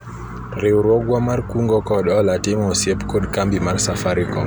riwruogwa mar kungo kod hola timo osiep kod kambi mar safarikom